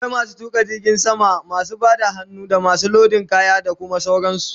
Akwai masu tuƙa jirgin sama, masu Bada hannu, damasu lodin kaya, da Kuma sauran su